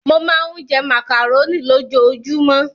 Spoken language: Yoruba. Mo máa ń jẹ màkàróní lójoojúmọ́.